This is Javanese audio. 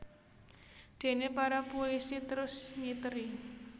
Déné para pulisi terus ngiteri